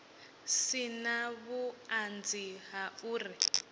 si na vhuṱanzi ha uri